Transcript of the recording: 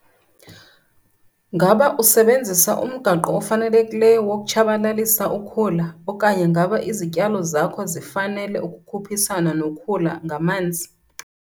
Ngaba usebenzisa umgaqo ofanelekileyo wokutshabalalisa ukhula okanye ngaba izityalo zakho zifanele ukukhuphisana nokhula ngamanzi?